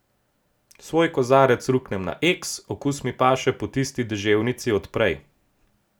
Svoj kozarec ruknem na eks, okus mi paše po tisti deževnici od prej.